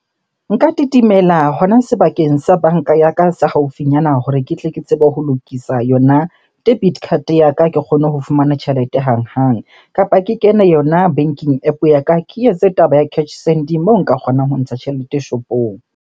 Nka kitimela hona sebakeng sa banka ya ka se haufinyana hore ke tle ke tsebe ho lokisa yona debit card ya ka, ke kgone ho fumana tjhelete hanghang. Kapa ke kene yona banking App ya ka, ke etse taba ya cash send moo nka kgonang ho ntsha tjhelete shopong.